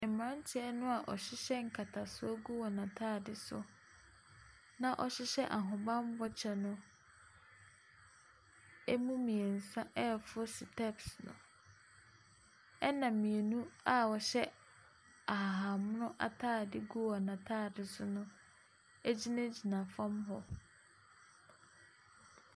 Mmaranteɛ noa ɔhyehyɛ nkatasoɔ gu wɔn ataade so na ɔhyehyɛ ahobanbɔ kyɛ no, emu mmiɛnsa ɛforo steps no. ɛna mmienu a ɔhyɛ ahahan mono ataade gu wɔn ataade so no egyinagyina fam hɔ.